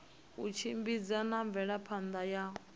u tshimbidza na mvelaphana yo